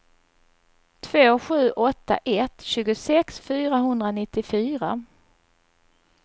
två sju åtta ett tjugosex fyrahundranittiofyra